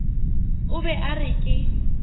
o be a re ke